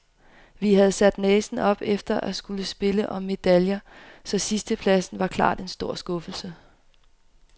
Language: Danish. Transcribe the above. Vi havde sat næsen op efter at skulle spille om medaljer, så sidstepladsen er klart en stor skuffelse.